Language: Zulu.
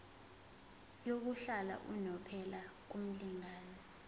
yokuhlala unomphela kumlingani